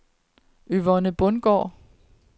Yvonne Bundgaard